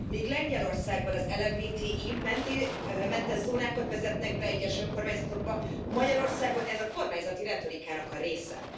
Míg Lengyelországban LMBTI mentes zónákat vezetnek be egyes önkormányzatokban, Magyarországon ez a kormányzati retorikának a része.